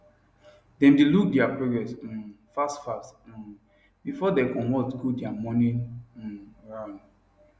them dae look their progress um fast fast um before dem comot go dia morning um run